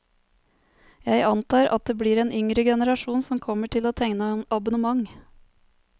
Jeg antar at det blir den yngre generasjon som kommer til å tegne abonnement.